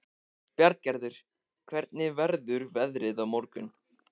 Bjarngerður, hvernig verður veðrið á morgun?